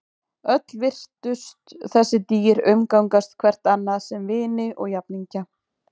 Öll virtust þessi dýr umgangast hvert annað sem vini og jafningja.